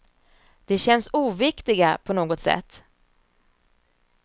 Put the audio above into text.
De känns oviktiga på något sätt.